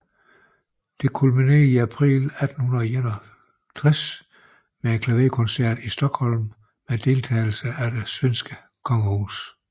Dette kulminerede i april 1861 med en klaverkoncert i Stockholm med deltagelse af det svenske kongehus